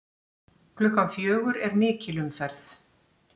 Klukkan fjögur er mikil umferð.